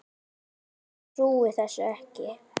Ég trúði þessu ekki.